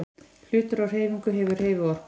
Hlutur á hreyfingu hefur hreyfiorku.